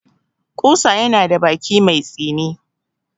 Ƙusa yana da baki mai tsini.